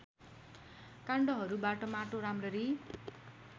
काण्डहरूबाट माटो राम्ररी